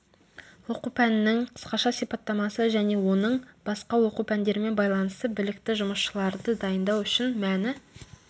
оқу пәнінің қысқаша сипаттамасы және оның басқа оқу пәндерімен байланысы білікті жұмысшыларды дайындау үшін мәні